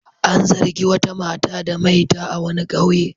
An zargi wata mata da maita a wani ƙauye.